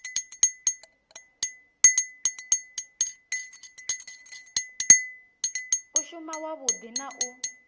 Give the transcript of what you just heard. u shuma wavhudi na u